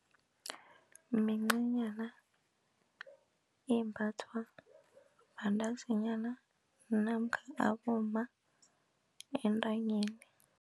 Mincanyana embathwa bantazinyana namkha abomma entanyeni.